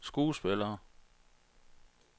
skuespillere